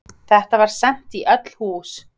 Þetta var sent í öll hús!